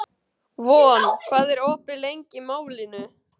Von, hvað er opið lengi í Málinu?